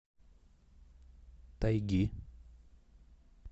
тайги